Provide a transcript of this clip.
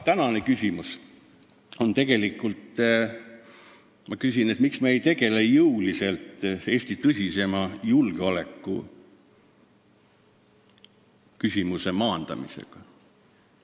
Tänane küsimus on see, miks me ei tegele jõuliselt Eesti tõsisema julgeolekuprobleemi maandamisega.